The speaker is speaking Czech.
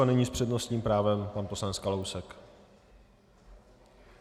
A nyní s přednostním právem pan poslanec Kalousek.